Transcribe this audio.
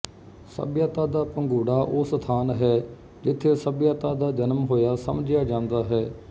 ਸਭਿਅਤਾ ਦਾ ਪੰਘੂੜਾ ਉਹ ਸਥਾਨ ਹੈ ਜਿੱਥੇ ਸਭਿਅਤਾ ਦਾ ਜਨਮ ਹੋਇਆ ਸਮਝਿਆ ਜਾਂਦਾ ਹੈ